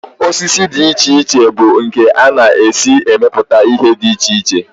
Osisi dị iche iche bụ nke a na-esi emepụta ihe dị iche iche